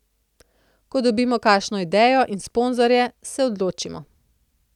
Ko dobimo kakšno idejo in sponzorje, se odločimo.